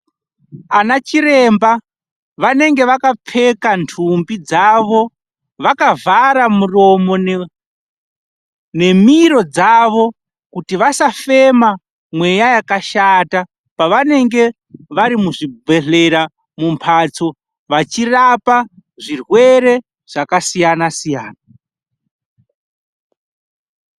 Madhokoteya anenge akapfeka nhumbi dzavo vakavhara miromo nemiro dzavo kuti vasa fema mweya yakashata pavanenge vari muzvibhedhlera vachirapa zvirwere zvakasiyana siyana.